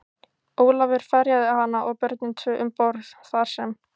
Ólafur ferjaði hana og börnin tvö um borð, þar sem